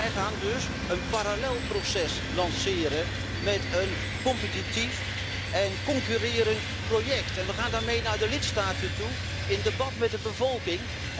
Wij gaan dus een parallel proces lanceren met een competitief en concurrerend project en we gaan daarmee in de lidstaten in debat met de bevolking.